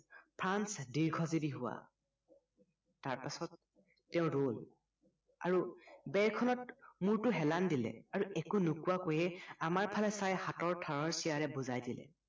France দীৰ্ঘজীৱী হোৱা। তাৰ পাচত তেওঁ ৰ'ল আৰু বেৰখনত মূৰটো হেলান দিলে আৰু একো নোকোৱাকৈয়ে আমাৰফালে চাই হাতৰ ঠাৰৰ চিয়াৰে বুজায় দিলে